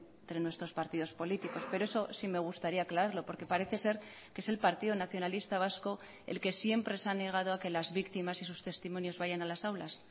entre nuestros partidos políticos pero eso sí me gustaría aclararlo porque parece ser que es el partido nacionalista vasco el que siempre se ha negado a que las víctimas y sus testimonios vayan a las aulas